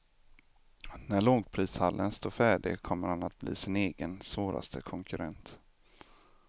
När lågprishallen står färdig kommer han att bli sin egen, svåraste konkurrent.